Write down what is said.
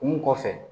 Kun mun kɔfɛ